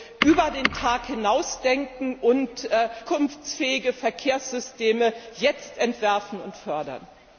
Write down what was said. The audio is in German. Also Über den Tag hinaus denken und zukunftsfähige Verkehrssysteme jetzt entwerfen und fördern!